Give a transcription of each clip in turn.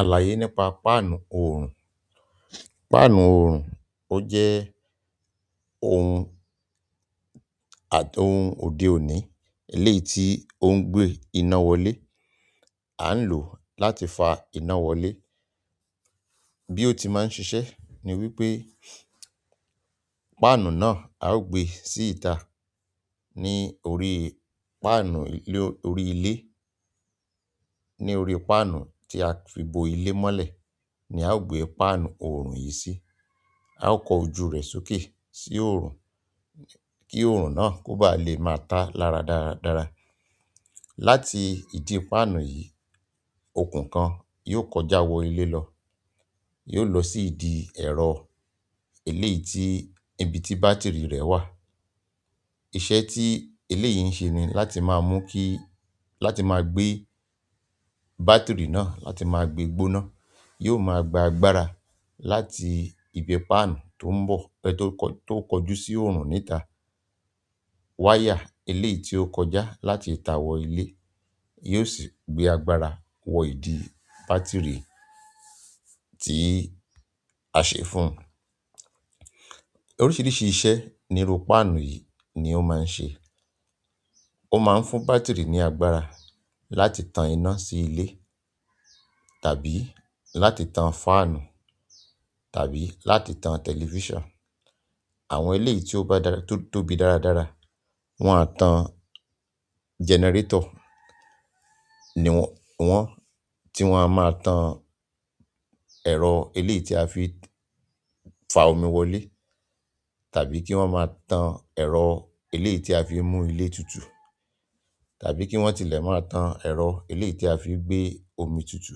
Àlàyé nípa páànù oòrùn. Páànù oòrùn ó jẹ́ ohun àti ohun òde òní, eléyìí tí ó ń gbé iná wọlé. A ń lò ó láti fa iná wọlé. Bi o ti maa n sise ni wípé panu náà a o gbe síta ni orí panu orí ile. Ní orí páànù tí a fi bo ilé mọ́lẹ̀ ní a ó gbé páànù oòrùn yìí sí. A ó kọ ojú rẹ̀ sókè sí oòrùn kí oòrùn náà kó ba lè máa ta láradára. Láti idi paanu yi okun kan yóò kọjá wo ile lo yóò lo si idi ero eleyi ti ibi batiri re wa. Iṣẹ́ tí eléyìí ń ṣe ni láti máa mú kí, láti máa gbé bátìrì náà, láti máa gbé gbóná, yóò máa gba agbára láti ibi páànù tó ń bọ̀, bẹ tó kọjú sí oòrùn níta. Wáyà eléyìí tí ó kọjá láti ìta wọ ilé yóò sì gbé agbára wọ ìdí bátìrì tí a ṣe fún un. Oríṣiríṣi iṣẹ́ ni irú páànù yìí ni ó máa ń ṣe. Ó máa ń fún bátìrì ní agbára láti tan iná sí ilé tàbí láti tan fáànù tàbí láti tan tẹlifíṣàn. Àwọn eléyìí tí ó bá tóbi dáradára, wọ́n á tan jẹnẹrétọ̀ ní wọn tí wọ́n á máa tan ẹ̀rọ eléyìí tí a fi fa omi wọlé tàbí kí wọ́n máa tan ẹ̀rọ eléyìí tí a fi mú ilé tutù tàbí kí wọ́n tilẹ̀ máa tan ẹ̀rọ eléyìí tí a fi gbé omi tutù.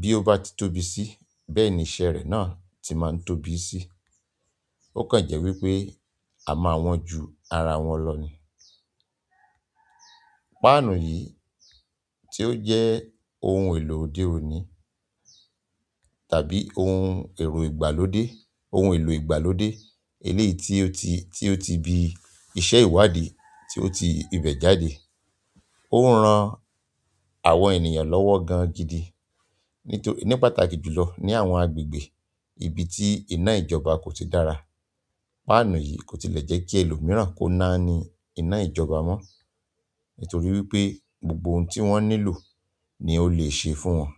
Bí ó bá ti tóbi sí, bẹ́ẹ̀ ni iṣẹ́ rẹ̀ náà ti máa ń tóbi sí. Ó kàn jẹ́ wípé a máa wọn ju ara wọn lọ ni. Páànù yìí tí ó jẹ́ ohun èlò òde òní tàbí ohun ẹ̀rọ ìgbàlódé, ohun èlò ìgbàlódé eléyìí tí ó ti bí iṣẹ́ ìwádìí tí ó ti ibẹ̀ jáde. Ó ń ran àwọn ènìyàn lọ́wọ́ gan gidi. Nítorí ní pàtàkì jù lọ ní àwọn agbègbè ibi tí iná ìjọba kò ti dára. Páànù yìí kò tilẹ̀ jẹ́ kí ẹlòmíràn kó náani iná ìjọba mó. Nítorí wípé gbogbo ohun tí wọ́n nílò ni ó lè ṣe fún wọn.